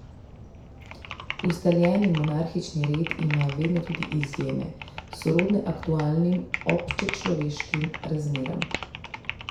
Ustaljeni monarhični red ima vedno tudi izjeme, sorodne aktualnim občečloveškim razmeram.